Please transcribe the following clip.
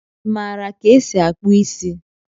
Imara ka esi akpụ isi?